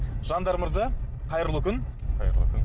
жандар мырза қайырлы күн қайырлы күн